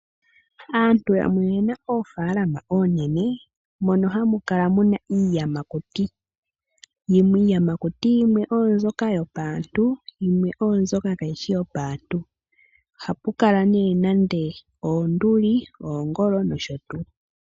Aantu yamwe oyena oofalama oonene mono hamu kala muna iiyamakuti. Iiyamakuti yimwe oyo mbyoka yopaantu yimwe oyo mbyoka kayi shi yopaantu. Ohapu kala nee nande oonduli, oongolo nosho tuu.